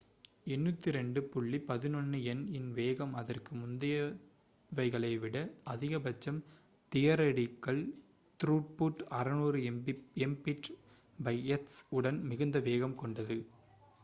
802.11n இன் வேகம் அதற்கு முந்தையவைகளை விட அதிகபட்சம் தியரடிகல் த்ரூபுட் 600mbit/s உடன் மிகுந்த வேகம் கொண்டது